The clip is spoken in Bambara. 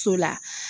So la